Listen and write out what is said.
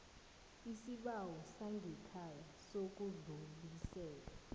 isibawo sangekhaya sokudlulisela